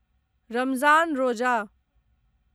रमज़ान रोजा